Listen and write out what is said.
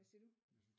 Hvad siger du?